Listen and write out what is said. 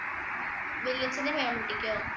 വല്യച്ഛന്‍റെ കുട്ടിക്കോ.